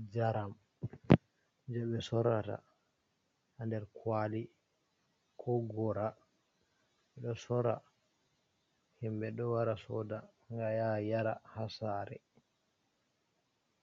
Njaram je ɓe sorata ha nder kwali ko gora, ɓeɗo sora, himɓe ɗo wara soda nga ya yara ha sare.